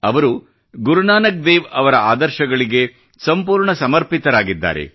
ಅವರು ಗುರುನಾನಕ್ ದೇವ್ ಅವರ ಆದರ್ಶಗಳಿಗೆ ಸಂಪೂರ್ಣ ಸಮರ್ಪಿತರಾಗಿದ್ದಾರೆ